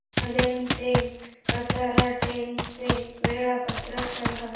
कल्याण ते कसारा ट्रेन चे वेळापत्रक सांगा